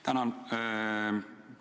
Tänan!